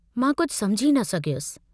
मां कुझु समुझी न सघियुसि!